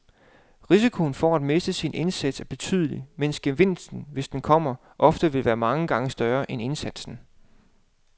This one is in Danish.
Risikoen for at miste sin indsats er betydelig, mens gevinsten, hvis den kommer, ofte vil være mange gange større end indsatsen.